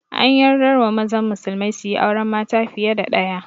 An yardar wa mazan musulmai suyi auren mata fiye da ɗaya